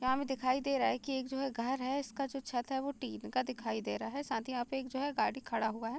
यहाँ पे दिखाई दे रहा है कि एक जो है घर है | इसका जो छत है वह टिन का दिखाई दे रहा है | साथ ही यहाँ पे जो है गाड़ी खड़ा हुआ है |